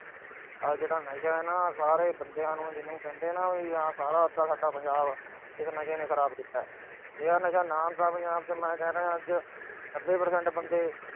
ਆਹ ਜਿਹੜਾ ਨਸ਼ਾ ਆ ਨਾ, ਸਾਰੇ ਬੰਦਿਆ ਨੂੰ ਆਹ ਜਿਹਨੂੰ ਕਹਿੰਦੇ ਆ ਨਾ ਸਾਰਾ ਸਾਡਾ ਪੰਜਾਬ ਇਸ ਨਸ਼ੇ ਨੇ ਖਰਾਬ ਕੀਤਾ। ਜਿਹੜਾ ਨਸ਼ਾ ਪੰਜਾਬ ਚ ਨਾ ਕਰੇ ਅੱਜ, ਮੈਂ ਕਹਿੰਦਾ ਨੱਬੇ percent